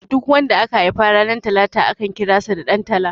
Duk wanda aka haifa ranar talata akan kira sa da Dan tala